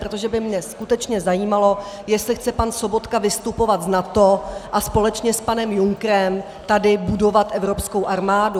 Protože by mě skutečně zajímalo, jestli chce pan Sobotka vystupovat z NATO a společně s panem Junckerem tady budovat evropskou armádu.